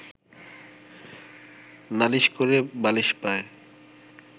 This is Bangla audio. নালিশ করে বালিশ পায়